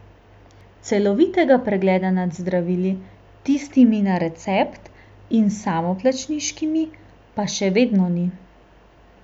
Celovitega pregleda nad zdravili, tistimi na recept in samoplačniškimi, pa še vedno ni.